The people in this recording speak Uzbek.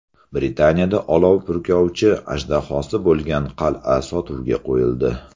Britaniyada olov purkovchi ajdahosi bo‘lgan qal’a sotuvga qo‘yildi .